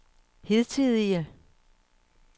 hidtidige